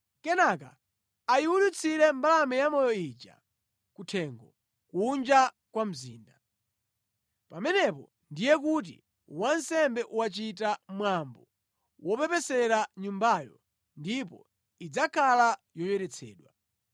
Kenaka ayiwulutsire mbalame yamoyo ija kuthengo, kunja kwa mzinda. Pamenepo ndiye kuti wansembe wachita mwambo wopepesera nyumbayo, ndipo idzakhala yoyeretsedwa.”